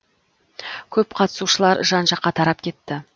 көп қатысушылар жан жаққа тарап кетті